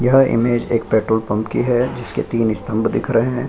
यह इमेज एक petrol pump की है जिसेक तीन स्तम्भ दिख रहे है।